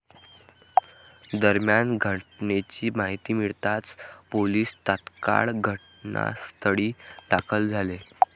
दरम्यान घटनेची माहिती मिळताच पोलीस तात्काळ घटनास्थळी दाखल झाले.